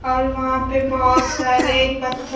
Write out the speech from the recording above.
और वहां पे बहुत सारे पत्थर--